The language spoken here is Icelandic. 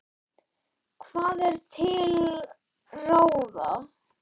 Hvað er til ráða